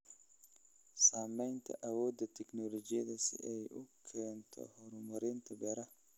Saamaynta awoodda tignoolajiyada si ay u keento horumarinta beeraha.